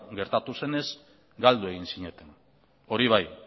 gertatu zenez galdu egin zineten hori bai